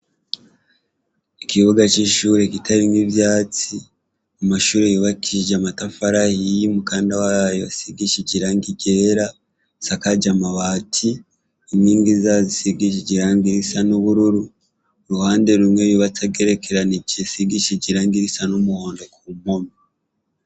Ikibuga c'ishure kitarimw'ivyatsi amashure yubakishije amatafari ahiye, umukanda wayo usigishije irangi ryera, asakaje amabati, inkingi zazo zisigishije irangi risa n'ubururu. Uruhande rumwe yubatse agerekeranye asigishije irangi risa n'umuhondo.